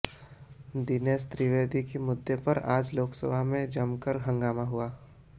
दिनेश त्रिवेदी के मुद्दे पर आज लोकसभा में जमकर हंगामा हुआ